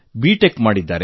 tech ಮಾಡಿದ್ದಾರೆ